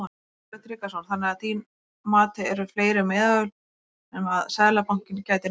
Sölvi Tryggvason: Þannig að þín mati eru fleiri meðöl sem að Seðlabankinn gæti notað?